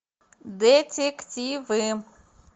детективы